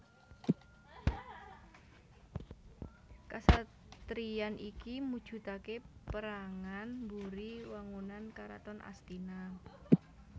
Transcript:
Kasatriyan iki mujudake perangan mburi wangunan Karaton Astina